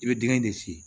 I bɛ dingɛ de sigi